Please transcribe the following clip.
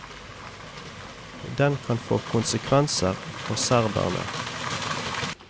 Den kan få konsekvenser for serberne.